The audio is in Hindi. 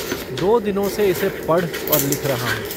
दो दिनों से इसे पढ़ और लिख रहा हूँ।